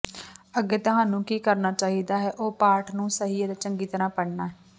ਅੱਗੇ ਤੁਹਾਨੂੰ ਕੀ ਕਰਨਾ ਚਾਹੀਦਾ ਹੈ ਉਹ ਹੈ ਪਾਠ ਨੂੰ ਸਹੀ ਅਤੇ ਚੰਗੀ ਤਰ੍ਹਾਂ ਪੜ੍ਹਨਾ